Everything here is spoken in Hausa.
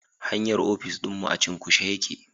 Hanyar ofis dinmu a cunkushe yake